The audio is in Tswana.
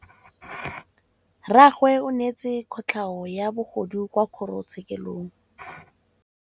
Rragwe o neetswe kotlhaô ya bogodu kwa kgoro tshêkêlông.